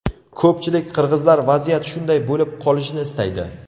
Ko‘pchilik qirg‘izlar vaziyat shunday bo‘lib qolishini istaydi.